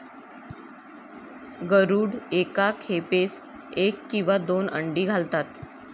गरुड एका खेपेस एक किंवा दोन अंडी घालतात.